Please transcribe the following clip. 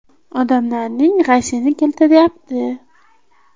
Odamlarning g‘ashini keltiryapti.